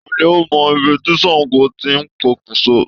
Ta ni ó mọ ibi tí Ṣàngó ti pokùnso?